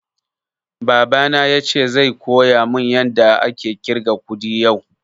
Baba na yace zai koya mun yada ake ƙirga kuɗi yau